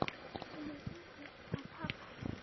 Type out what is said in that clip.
Þú hefur engu að tapa.